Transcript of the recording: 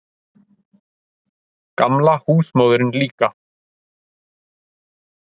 Gamla húsmóðirin líka.